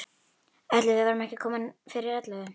Ætli við verðum ekki komin fyrir ellefu.